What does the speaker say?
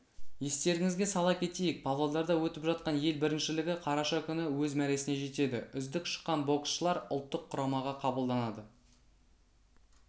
естеріңізге сала кетейік павлодарда өтіп жатқан ел біріншілігі қараша күні өз мәресіне жетеді үздік шыққан боксшылар ұлттық құрамаға қабылданады